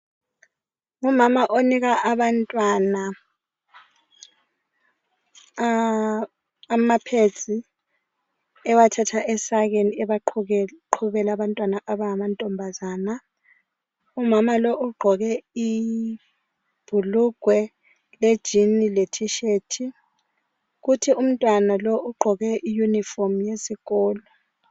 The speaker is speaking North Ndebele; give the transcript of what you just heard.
Ngumama onika abantwana ama pads ewathatha esakeni eqhubela abantwana abangamantombazana. Umama lo ugqoke ibhulugwe lejean le t-shirt kuthi umntwana lo ugqoke iuniform yesikolo